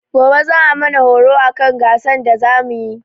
Gobe za'a mana horo akan gasan da za muyi.